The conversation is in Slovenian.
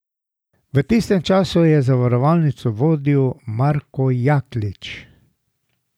V tistem času je zavarovalnico vodil Marko Jaklič.